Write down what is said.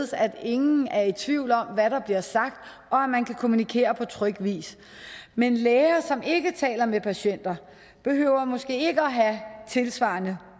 så ingen er tvivl om hvad der bliver sagt og at man kan kommunikere på tryg vis men læger som ikke taler med patienter behøver måske ikke at have tilsvarende